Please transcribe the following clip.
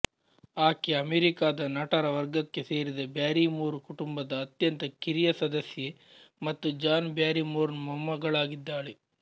ಆಕೆ ಅಮೆರಿಕಾದ ನಟರ ವರ್ಗಕ್ಕೆ ಸೇರಿದ ಬ್ಯಾರಿಮೋರ್ ಕುಟುಂಬದ ಅತ್ಯಂತ ಕಿರಿಯ ಸದಸ್ಯೆ ಮತ್ತು ಜಾನ್ ಬ್ಯಾರಿಮೋರ್ನ ಮೊಮ್ಮಗಳಾಗಿದ್ದಾಳೆ